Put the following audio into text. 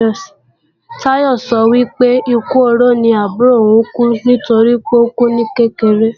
Táyọ sọ wípé, ikú oró ni àbúrò ò ń kú, toripé ókú ní kékeré